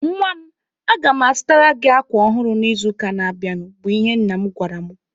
"Nwa m, aga mụ azụtara gị akwa ọhụrụ n'izuụka na-abịanụ", bụ ihe nna m gwara mụ.